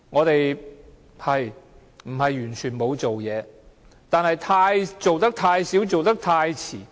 當局不是完全沒有做事，但卻做得太少和太遲。